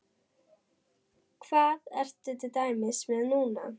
Hvað ertu til dæmis með núna?